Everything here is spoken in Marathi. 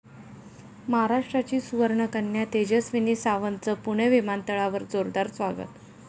महाराष्ट्राची सुवर्णकन्या तेजस्विनी सावंतचं पुणे विमानतळावर जोरदार स्वागत